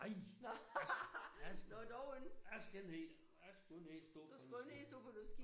Nej! Nej skal jeg skal skal jeg ikke ned jeg skulle ikke ned og så på en